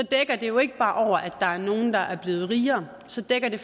dækker det jo ikke bare over at der er nogle der er blevet rigere så dækker det